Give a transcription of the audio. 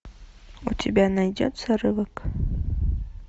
у тебя найдется рывок